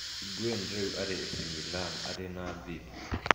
Higuain rĩu arĩ AC Milan, arĩ na thirĩ.